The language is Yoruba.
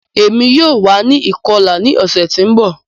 Emi yoo wa ni ikọla ni ọsẹ ti n bọ